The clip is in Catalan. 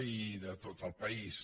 i de tot el país